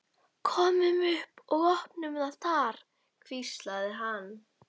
Svo rann aftur á mig mók og ég sofnaði.